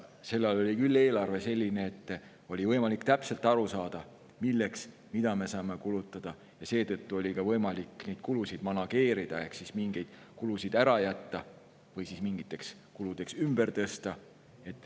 Sel ajal oli küll eelarve selline, et oli võimalik täpselt aru saada, milleks ja mida me saame kulutada, seetõttu sai ka kulusid manageerida ehk siis mingeid kulusid ära jätta või siis kulutusteks ümber tõsta.